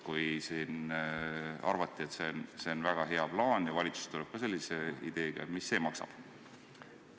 Kui siin arvati, et see on väga hea plaan ja valitsus tuleb ka sellise ideega kaasa, siis mis see maksab?